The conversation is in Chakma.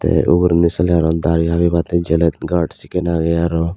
ye ugurendi seley aro dari habibatteg gelete gaurd sekken agey aro.